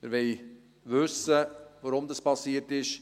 Wir wollen wissen, warum das passiert ist.